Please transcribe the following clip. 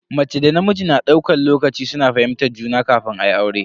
Mace da namiji na daukan lokaci suna fahimtar juna kafin ayi aure.